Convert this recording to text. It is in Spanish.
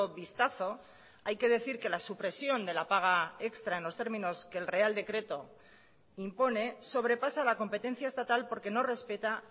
vistazo hay que decir que la supresión de la paga extra en los términos que el real decreto impone sobrepasa la competencia estatal porque no respeta